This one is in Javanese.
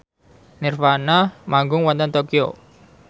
nirvana manggung wonten Tokyo